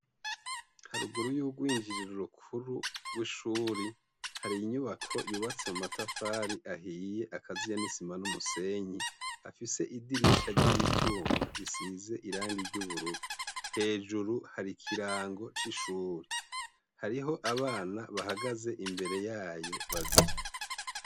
Haruguru y'urwinjiriro rukuru rw'ishure, hari inyubako yubatse mu matafari ahiye akaziye n'isima n'umusenyi, hafise idirisha ry'ivyuma bisize irangi ry'ubururu, hejuru hari ikirango c'ishure, hariho abana bahagaze imbere yayo babiri.